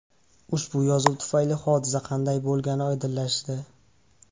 Ushbu yozuv tufayli hodisa qanday bo‘lgani oydinlashdi.